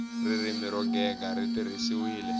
ririmi ro gega ri tirhisiwile